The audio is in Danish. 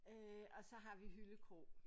Øh og så har vi Hyllekrog